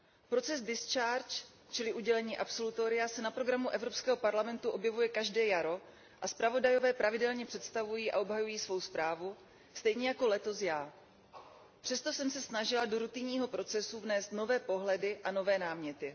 Proces discharge čili udělení absolutoria, se na programu Evropského parlamentu objevuje každé jaro a zpravodajové pravidelně představují a obhajují svou zprávu stejně jako letos já. Přesto jsem se snažila do rutinního procesu vnést nové pohledy a nové náměty.